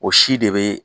O si de be